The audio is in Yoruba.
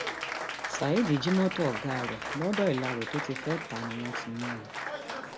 saheed jí mọtò ọgá ẹ londo ilárò tó ti fẹẹ ta á ni wọn ti mú un